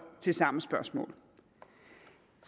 til samme spørgsmål